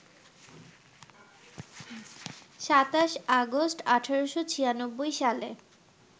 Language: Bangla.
২৭ আগস্ট, ১৮৯৬ সালে